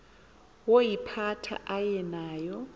woyiphatha aye nayo